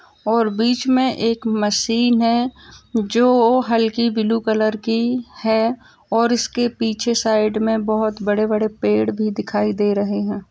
और बीच में एक मशीन है जो हल्की ब्लू कलर की है और इसके पीछे साइड में बहोत बड़े-बड़े पेड़ भी दिखाई दे रहे हैं।